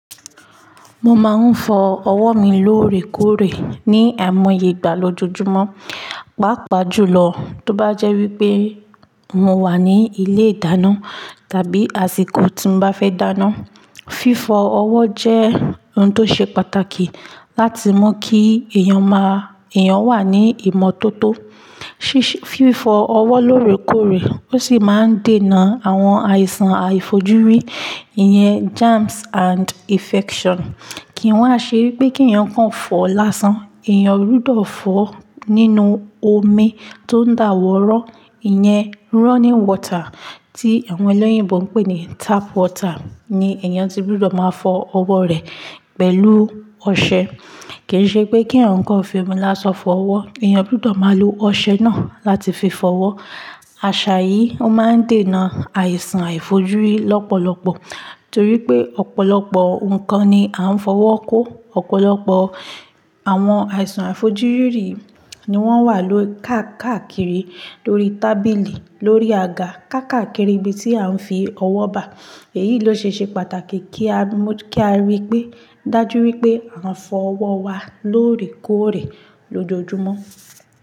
Mo máa ń fọ ọwọ́ mi lóòrèkóòrè ní àìmọye ìgbà lójoojúmọ́, pàápàá jùlọ tó bá jẹ́ wípé mo wà ní ilé ìdáná tàbí àsìkò tí n bá fẹ́ dáná. Fífọ ọwọ́ jẹ́ ohun tó ṣe pàtàkì láti mọ̀ kí èèyàn máa, èèyàn wà ní ìmọ́tótó. Fífọ ọwọ́ lóòrèkóòrè ó sì máa ń dènà àwọn àìsàn àìfojúrí, iyen germs and infection. Kì í n wà ṣe wípé kí èèyàn kan fọ lásán, èèyàn gbudọ̀ fọ nínú omi tó ń dàwọ́rọ́, iyen running water tí àwọn ẹlẹ́yìnbo ń pè ní tap water ni èèyàn ti gbudọ̀ máa fọ ọwọ́ rẹ pẹ̀lú ọṣẹ. Kì í ṣe pé kí ǹkan fi mu lásán fọ ọwọ́, èèyàn gbudọ̀ máa lo ọṣẹ náà láti fi fọ ọwọ́. Àṣà yìí ó máa ń dènà àìsàn àìfojúrí lọ́pọ̀lọpọ̀ torí pé ọ̀pọ̀lọpọ̀ ǹkan ni a ń fọwọ́ kó, ọ̀pọ̀lọpọ̀ àwọn àìsàn àìfojúrí ni wọ́n wà ló káàkiri lórí tábìlì, lórí àga, káàkakiri ibi tí à ń fi ọwọ́ bà. Èyí ló ṣe ṣe pàtàkì kí a mọ̀ kí a rí pé dájú wípé à ń fọ ọwọ́ wa lóòrèkóòrè lójoojúmọ́.